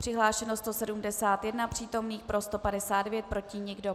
Přihlášeno 171 přítomných, pro 159, proti nikdo.